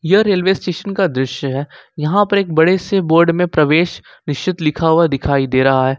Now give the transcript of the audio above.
यह railway station का दृश्य है यहां पर एक बड़े से बोर्ड में प्रवेश निषेध लिखा हुआ दिखाई दे रहा है।